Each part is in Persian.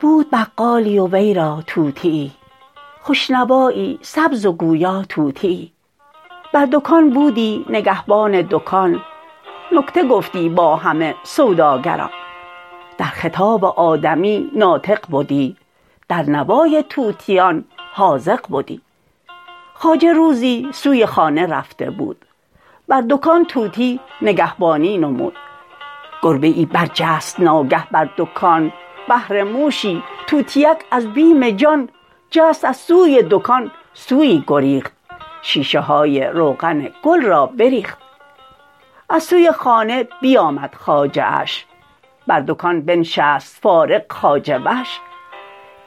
بود بقالی و وی را طوطیی خوش نوایی سبز و گویا طوطیی بر دکان بودی نگهبان دکان نکته گفتی با همه سوداگران در خطاب آدمی ناطق بدی در نوای طوطیان حاذق بدی خواجه روزی سوی خانه رفته بود بر دکان طوطی نگهبانی نمود گربه ای برجست ناگه بر دکان بهر موشی طوطیک از بیم جان جست از سوی دکان سویی گریخت شیشه های روغن گل را بریخت از سوی خانه بیامد خواجه اش بر دکان بنشست فارغ خواجه وش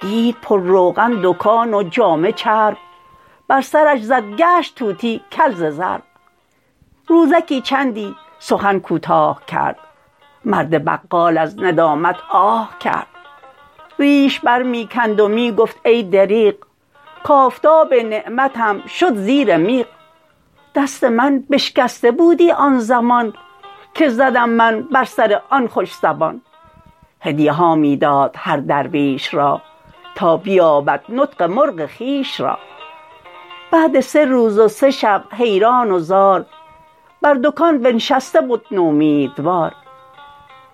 دید پر روغن دکان و جامه چرب بر سرش زد گشت طوطی کل ز ضرب روزکی چندی سخن کوتاه کرد مرد بقال از ندامت آه کرد ریش بر می کند و می گفت ای دریغ کافتاب نعمتم شد زیر میغ دست من بشکسته بودی آن زمان که زدم من بر سر آن خوش زبان هدیه ها می داد هر درویش را تا بیابد نطق مرغ خویش را بعد سه روز و سه شب حیران و زار بر دکان بنشسته بد نومیدوار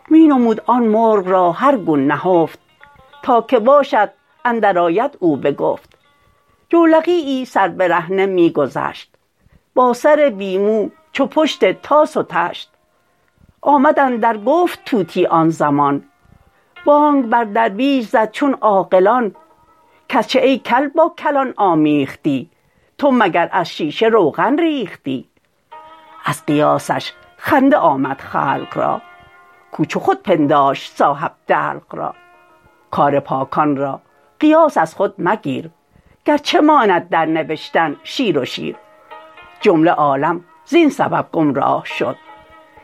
می نمود آن مرغ را هر گون نهفت تا که باشد اندرآید او بگفت جولقیی سر برهنه می گذشت با سر بی مو چو پشت طاس و طشت آمد اندر گفت طوطی آن زمان بانگ بر درویش زد چون عاقلان کز چه ای کل با کلان آمیختی تو مگر از شیشه روغن ریختی از قیاسش خنده آمد خلق را کو چو خود پنداشت صاحب دلق را کار پاکان را قیاس از خود مگیر گرچه ماند در نبشتن شیر و شیر جمله عالم زین سبب گمراه شد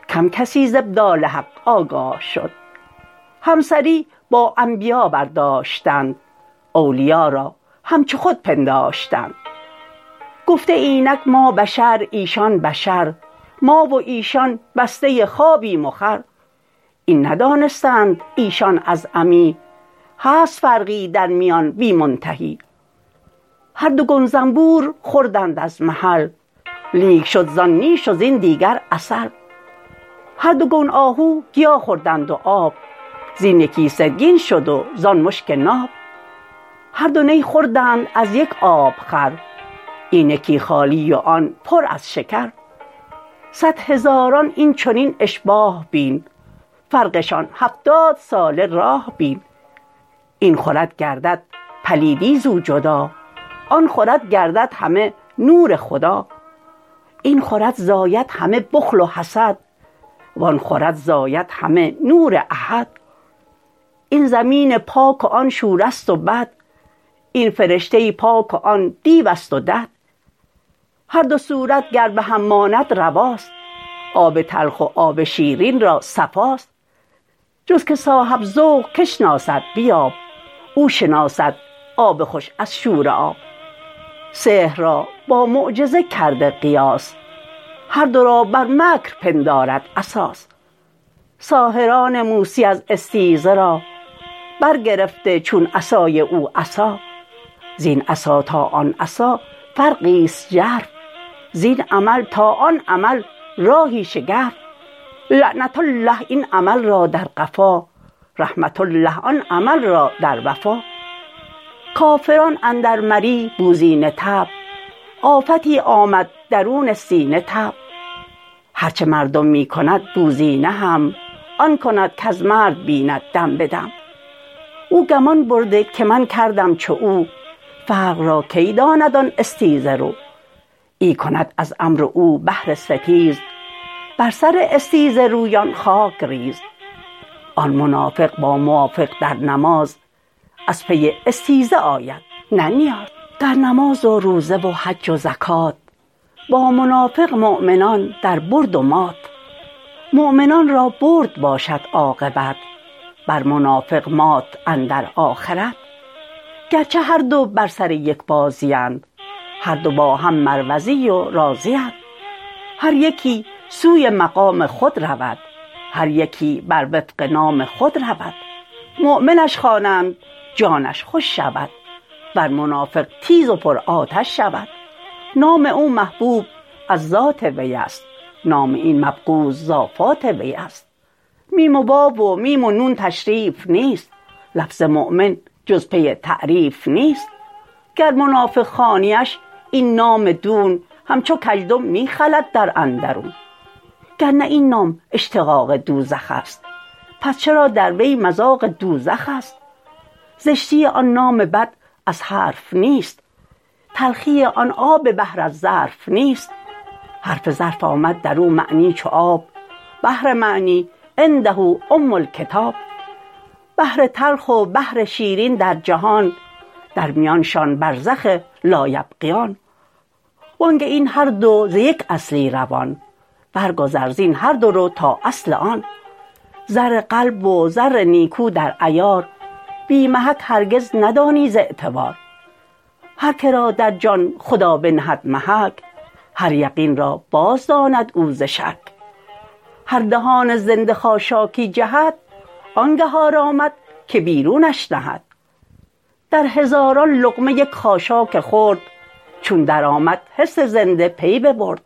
کم کسی ز ابدال حق آگاه شد همسری با انبیا برداشتند اولیا را همچو خود پنداشتند گفته اینک ما بشر ایشان بشر ما و ایشان بسته خوابیم و خور این ندانستند ایشان از عمی هست فرقی درمیان بی منتهی هر دو گون زنبور خوردند از محل لیک شد زان نیش و زین دیگر عسل هر دو گون آهو گیا خوردند و آب زین یکی سرگین شد و زان مشک ناب هر دو نی خوردند از یک آب خور این یکی خالی و آن پر از شکر صد هزاران این چنین اشباه بین فرقشان هفتاد ساله راه بین این خورد گردد پلیدی زو جدا آن خورد گردد همه نور خدا این خورد زاید همه بخل و حسد وآن خورد زاید همه نور احد این زمین پاک و آن شوره ست و بد این فرشته پاک و آن دیوست و دد هر دو صورت گر به هم ماند رواست آب تلخ و آب شیرین را صفاست جز که صاحب ذوق کی شناسد بیاب او شناسد آب خوش از شوره آب سحر را با معجزه کرده قیاس هر دو را بر مکر پندارد اساس ساحران موسی از استیزه را برگرفته چون عصای او عصا زین عصا تا آن عصا فرقی ست ژرف زین عمل تا آن عمل راهی شگرف لعنة الله این عمل را در قفا رحمة الله آن عمل را در وفا کافران اندر مری بوزینه طبع آفتی آمد درون سینه طبع هرچه مردم می کند بوزینه هم آن کند کز مرد بیند دم بدم او گمان برده که من کردم چو او فرق را کی داند آن استیزه رو این کند از امر و او بهر ستیز بر سر استیزه رویان خاک ریز آن منافق با موافق در نماز از پی استیزه آید نه نیاز در نماز و روزه و حج و زکات با منافق مؤمنان در برد و مات مؤمنان را برد باشد عاقبت بر منافق مات اندر آخرت گرچه هر دو بر سر یک بازی اند هر دو با هم مروزی و رازی اند هر یکی سوی مقام خود رود هر یکی بر وفق نام خود رود مؤمنش خوانند جانش خوش شود ور منافق تیز و پر آتش شود نام او محبوب از ذات وی است نام این مبغوض از آفات وی است میم و واو و میم و نون تشریف نیست لفظ مؤمن جز پی تعریف نیست گر منافق خوانیش این نام دون همچو کژدم می خلد در اندرون گرنه این نام اشتقاق دوزخست پس چرا در وی مذاق دوزخست زشتی آن نام بد از حرف نیست تلخی آن آب بحر از ظرف نیست حرف ظرف آمد درو معنی چو آب بحر معنی عنده ام الکتاب بحر تلخ و بحر شیرین در جهان در میانشان برزخ لا یبغیان وانگه این هر دو ز یک اصلی روان بر گذر زین هر دو رو تا اصل آن زر قلب و زر نیکو در عیار بی محک هرگز ندانی ز اعتبار هر که را در جان خدا بنهد محک هر یقین را باز داند او ز شک در دهان زنده خاشاکی جهد آنگه آرامد که بیرونش نهد در هزاران لقمه یک خاشاک خرد چون در آمد حس زنده پی ببرد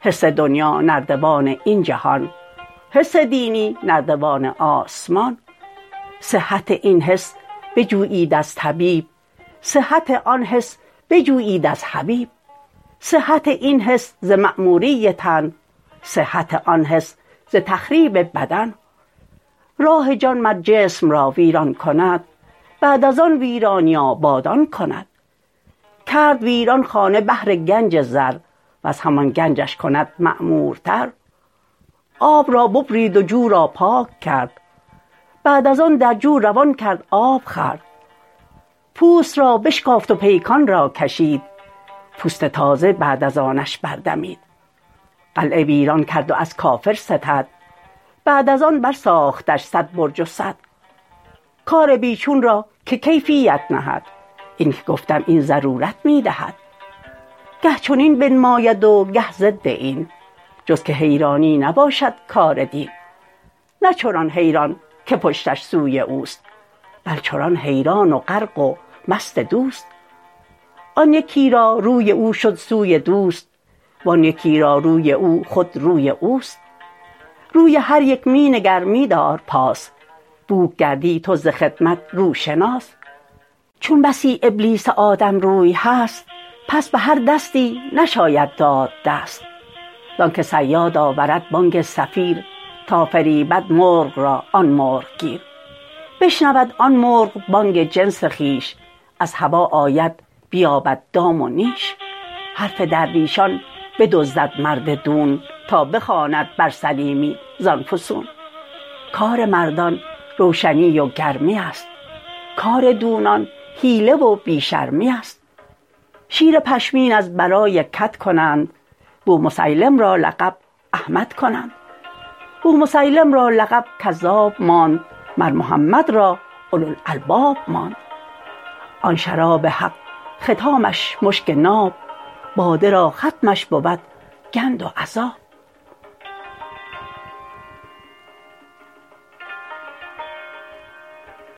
حس دنیا نردبان این جهان حس دینی نردبان آسمان صحت این حس بجویید از طبیب صحت آن حس بجویید از حبیب صحت این حس ز معموری تن صحت آن حس ز تخریب بدن راه جان مر جسم را ویران کند بعد از آن ویرانی آبادان کند کرد ویران خانه بهر گنج زر وز همان گنجش کند معمورتر آب را ببرید و جو را پاک کرد بعد از آن در جو روان کرد آب خورد پوست را بشکافت و پیکان را کشید پوست تازه بعد از آنش بر دمید قلعه ویران کرد و از کافر ستد بعد از آن بر ساختش صد برج و سد کار بی چون را که کیفیت نهد اینک گفتم این ضرورت می دهد گه چنین بنماید و گه ضد این جز که حیرانی نباشد کار دین نه چنان حیران که پشتش سوی اوست بل چنان حیران و غرق و مست دوست آن یکی را روی او شد سوی دوست وان یکی را روی او خود روی اوست روی هر یک می نگر می دار پاس بوک گردی تو ز خدمت روشناس چون بسی ابلیس آدم روی هست پس به هر دستی نشاید داد دست زانک صیاد آورد بانگ صفیر تا فریبد مرغ را آن مرغ گیر بشنود آن مرغ بانگ جنس خویش از هوا آید بیابد دام و نیش حرف درویشان بدزدد مرد دون تا بخواند بر سلیمی زان فسون کار مردان روشنی و گرمیست کار دونان حیله و بی شرمیست شیر پشمین از برای کد کنند بومسیلم را لقب احمد کنند بومسیلم را لقب کذاب ماند مر محمد را اولو الالباب ماند آن شراب حق ختامش مشک ناب باده را ختمش بود گند و عذاب